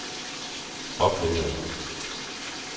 oplevede